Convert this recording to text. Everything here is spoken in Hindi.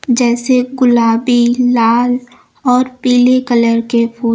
जैसे गुलाबी लाल और पीले कलर के फूल--